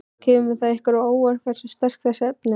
Kemur það ykkur á óvart hversu sterk þessi efni eru?